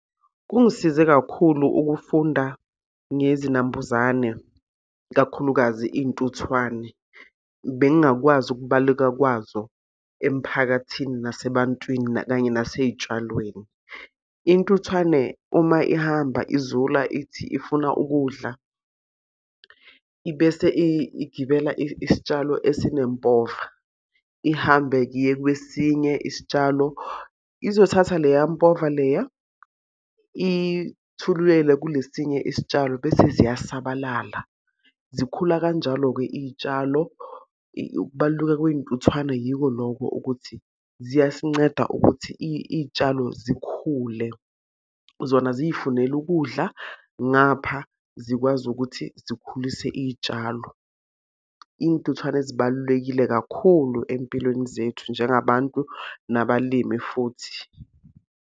Kungisize kakhulu ukufunda ngezinambuzane, kakhulukazi iy'ntuthwane. Bengingakwazi ukubaleka kwazo emphakathini, nasebantwini, kanye nasey'tshalweni. Intuthwane uma ihamba izula ithi ifuna ukudla, ibese igibela isitshalo esinempova ihambe-ke iye kwesinye isitshalo. Izothatha leya mpova leya, ithululele kule esinye isitshalo bese ziyasabalala. Zikhula kanjalo-ke iy'tshalo. Ukubaluleka kwey'ntuthwane yiko lokho ukuthi ziyasinceda ukuthi iy'tshalo zikhule. Zona ziy'funela ukudla, ngapha zikwazi ukuthi zikhulise iy'tshalo. Iy'ntuthwane zibalulekile kakhulu ey'mpilweni zethu njengabantu nabalimi futhi.